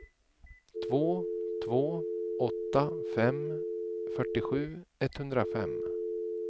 två två åtta fem fyrtiosju etthundrafem